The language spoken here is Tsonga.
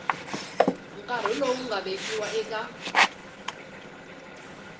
nkarhi lowu nga vekiwa eka